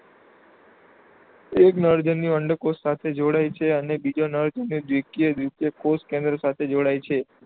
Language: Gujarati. એક નરજન્યુ અંડકોષ સાથે જોડાય છે અને બીજો નરજન્યુ દ્વિકીય દ્વિતીયક કોષકેન્દ્ર સાથે જોડાય છે.